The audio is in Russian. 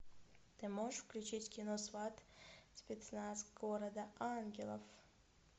ты можешь включить кино сват спецназ города ангелов